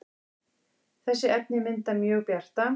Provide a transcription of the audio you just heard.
þessi efni mynda mjög bjarta